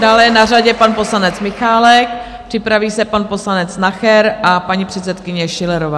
Dále je na řadě pan poslanec Michálek, připraví se pan poslanec Nacher a paní předsedkyně Schillerová.